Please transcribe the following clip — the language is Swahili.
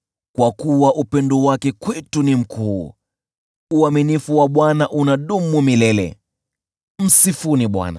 Kwa kuwa upendo wake kwetu ni mkuu, uaminifu wa Bwana unadumu milele. Msifuni Bwana .